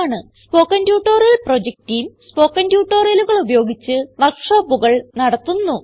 spoken tutorial project team spoken ട്യൂട്ടോറിയലുകൾ ഉപയോഗിച്ച് വർക്ക് ഷോപ്പുകൾ നടത്തുന്നു